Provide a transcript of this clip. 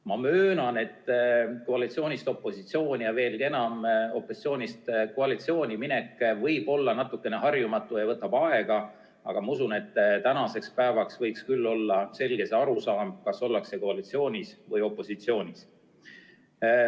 Ma möönan, et koalitsioonist opositsiooni ja veelgi enam opositsioonist koalitsiooni minek võib olla natukene harjumatu, see võtab aega, aga ma usun, et tänaseks päevaks võiks küll olla kõigil selge see arusaam, kas ollakse koalitsioonis või opositsioonis.